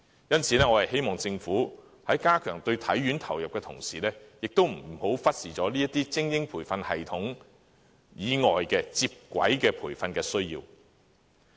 因此，我希望政府加強對體院投入的同時，亦不要忽視精英培訓系統以外接軌培訓的需要。